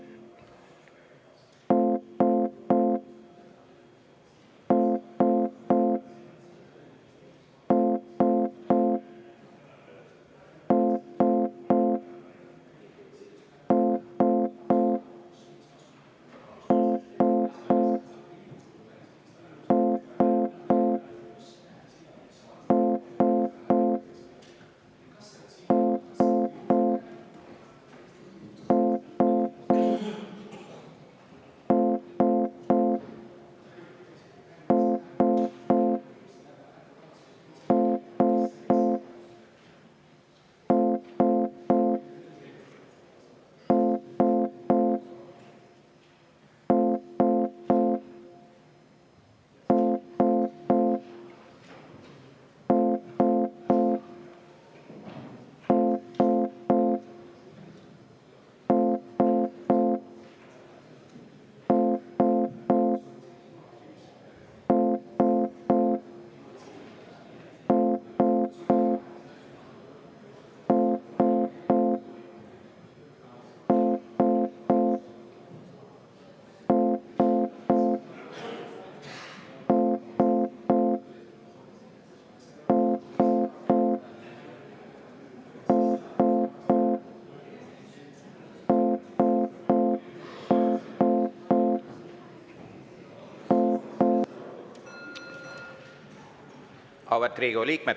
Auväärt Riigikogu liikmed!